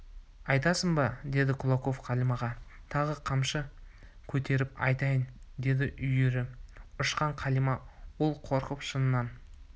айтасың ба деді кулаков қалимаға тағы қамшы көтеріп айтайын деді үрейі ұшқан қалима ол қорқып шынын